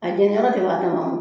A gɛlɛyara de wa a kɛ man